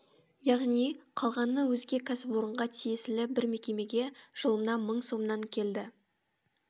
яғни қалғаны өзге кәсіпорынға тиесілі бір мекемеге жылына мың сомнан келді